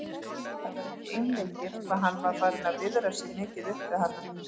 Það var ekki einleikið hvað hann var farinn að viðra sig mikið upp við hana.